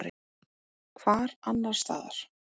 Hvar annars staðar?